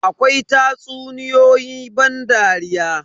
Akwai tatsuniyoyi ban dariya.